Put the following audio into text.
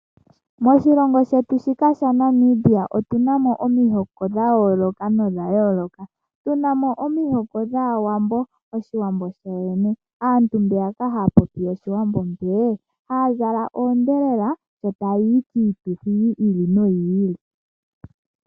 Moshilongo shetu shika sha Namibia otuna omihoko dhayoloka no dhayoloka tuna mo omihoka dhawambo , oshiwambo sho wene aantu mbeya ka haya popi oshiwambo mbee ha zala odhelela sho tayayi kiituthi yili no yili.